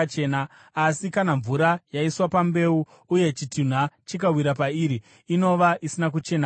Asi kana mvura yaiswa pambeu, uye chitunha chikawira pairi, inova isina kuchena kwamuri.